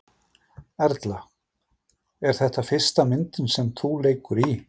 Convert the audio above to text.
Erla: Er þetta fyrsta myndin sem þú leikur í?